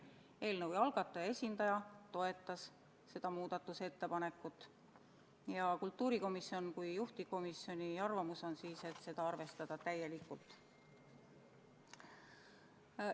Eelnõu algataja esindaja toetas seda muudatusettepanekut ja kultuurikomisjoni kui juhtivkomisjoni arvamus oli, et seda arvestataks täielikult.